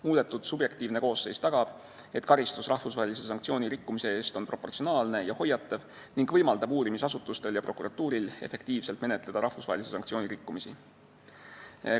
Muudetud subjektiivne koosseis tagab, et karistus rahvusvahelise sanktsiooni rikkumise eest on proportsionaalne ja hoiatav ning võimaldab uurimisasutustel ja prokuratuuril rahvusvahelise sanktsiooni rikkumisi efektiivselt menetleda.